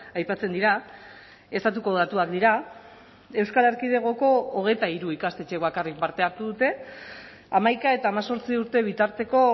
aipatzen dira estatuko datuak dira euskal erkidegoko hogeita hiru ikastetxek bakarrik parte hartu dute hamaika eta hemezortzi urte bitarteko